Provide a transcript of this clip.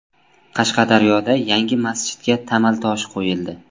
Qashqadaryoda yangi masjidga tamal toshi qo‘yildi.